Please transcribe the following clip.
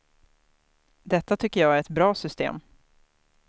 Detta tycker jag är ett bra system.